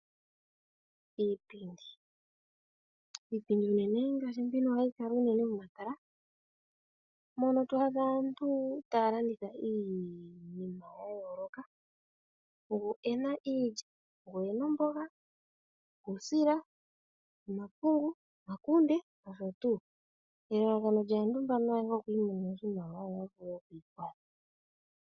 Iipindi Iipindi unene ohayi kala momatala, mono to adha aantu taya landitha iinima ya yooloka. Gumwe oku na iilya, omboga, uusila, omakunde, omapungu nosho tuu. Elalakano lyaantu mbano okwiimonene oshimaliwa yo ya vule okwiikwatha.